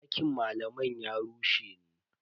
Dakin malaman ya rushe ne.